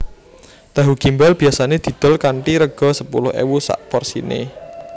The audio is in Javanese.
Tahu Gimbal biyasane didol kanthi rega sepuluh ewu sakporsine